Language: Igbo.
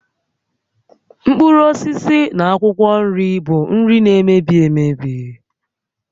Mkpụrụ osisi na akwụkwọ nri bụ nri na-emebi emebi